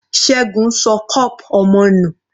Ṣẹgun ṣọ cup ọmọ nù.